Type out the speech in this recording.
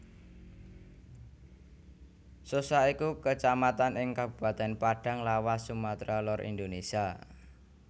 Sosa iku Kecamatan ing Kabupatèn Padang Lawas Sumatra Lor Indonesia